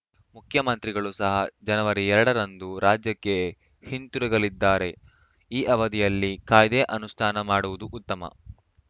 ಮುಖ್ಯಮಂತ್ರಿಗಳು ಸಹ ಜನವರಿ ಎರಡು ರಂದು ರಾಜ್ಯಕ್ಕೆ ಹಿಂತಿರುಗಲಿದ್ದಾರೆ ಈ ಅವಧಿಯಲ್ಲಿ ಕಾಯ್ದೆ ಅನುಷ್ಠಾನ ಮಾಡುವುದು ಉತ್ತಮ